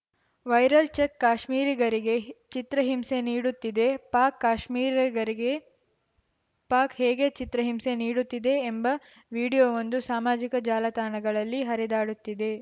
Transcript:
viral check ಕಾಶ್ಮೀರಿಗರಿಗೆ ಚಿತ್ರಹಿಂಸೆ ನೀಡುತ್ತಿದೆ ಪಾಕ್‌ ಕಾಶ್ಮೀರಿಗರಿಗೆ ಪಾಕ್‌ ಹೇಗೆ ಚಿತ್ರಹಿಂಸೆ ನೀಡುತ್ತಿದೆ ಎಂಬ ವಿಡಿಯೋವೊಂದು ಸಾಮಾಜಿಕ ಜಾಲಾತಾಣಗಳಲ್ಲಿ ಹರಿದಾಡುತ್ತಿದೆ